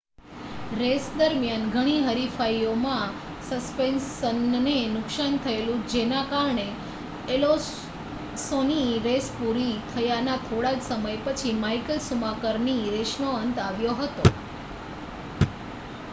race દરમિયાન ઘણી હરીફાઈઓમાં સસ્પેનશનને નુકસાન થયેલું જેના કારણે એલોન્સોની રેસ પુરી થયાના થોડા જ સમય પછી માઇકલ શુમાકરની રેસનો અંત આવ્યો હતો